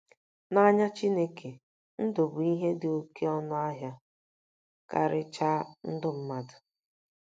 N’anya Chineke, ndụ bụ ihe dị oké ọnụ ahịa, karịchaa ndụ mmadụ.